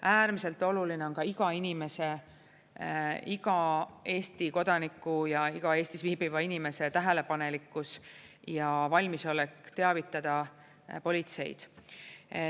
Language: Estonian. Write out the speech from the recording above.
Äärmiselt oluline on iga inimese, iga Eesti kodaniku ja iga Eestis viibiva inimese tähelepanelikkus ja valmisolek teavitada politseid.